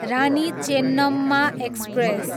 Rani Chennamma express